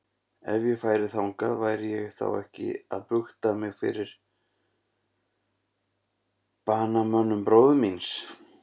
Ef ég færi þangað, væri ég þá ekki að bukta mig fyrir banamönnum bróður míns?